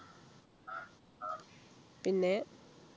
പിന്നെ